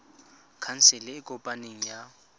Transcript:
khansele e e kopaneng ya